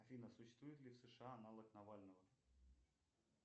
афина существует ли в сша аналог навального